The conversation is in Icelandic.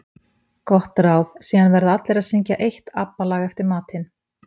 Gott ráð: Síðan verða allir að syngja eitt ABBA lag eftir matinn.